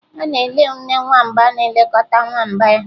Ọ na-ele nne nwamba na-elekọta nwamba ya